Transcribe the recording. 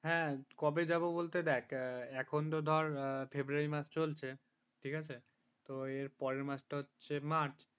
কবে যাবো বলতে দেখ এখন তো ধর ফেব্রুয়ারি মাস চলছে ঠিক আছে পরের মাসটা হচ্ছে মার্চ